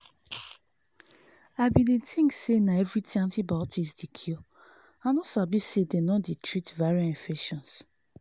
i been dey think say na everything antibiotics dey cure i no sabi say them no dey treat viral infections